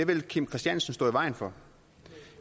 vil kim christiansen stå i vejen for